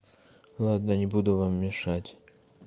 ладно не буду вам мешать